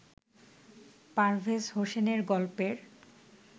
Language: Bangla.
পারভেজ হোসেনের গল্পের